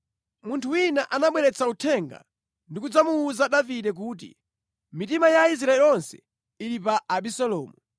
Munthu wina anabweretsa uthenga ndi kudzamuwuza Davide kuti, “Mitima ya Aisraeli onse ili pa Abisalomu.”